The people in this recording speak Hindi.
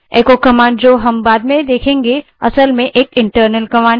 echo command जिसे हम बाद में देखेंगे वास्तव में एक internal command है